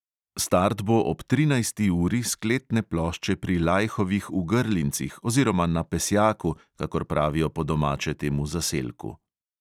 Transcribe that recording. Start bo ob trinajsti uri s kletne plošče pri lajhovih v grlincih oziroma na pesjaku, kakor pravijo po domače temu zaselku.